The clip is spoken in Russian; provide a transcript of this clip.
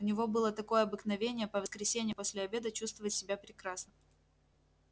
у него было такое обыкновение по воскресеньям после обеда чувствовать себя прекрасно